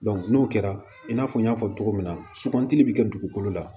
n'o kɛra i n'a fɔ n y'a fɔ cogo min na sugandili bi kɛ dugukolo la